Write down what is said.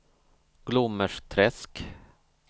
Glommersträsk